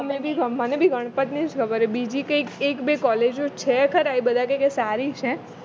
મને બી ગણપત ની જ ખબર હે બીજી કંઈક એક બે college છે ખરા એ બધા કે કે સારી છે